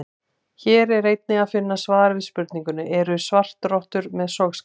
Hér er einnig að finna svar við spurningunni: Eru svartrottur með sogskálar?